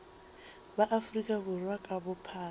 ba afrika borwa ka bophara